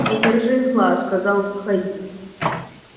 не держи зла сказал михаил